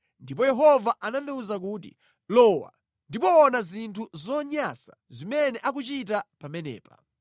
Ndipo Yehova anandiwuza kuti, “Lowa, ndipo ona zinthu zonyansa zimene akuchita pamenepa.”